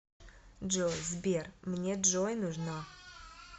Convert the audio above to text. джой сбер мне джой нужна